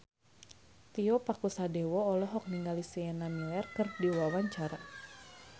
Tio Pakusadewo olohok ningali Sienna Miller keur diwawancara